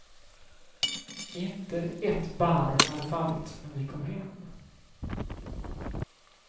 Inte ett barr hade fallit när vi kom hem.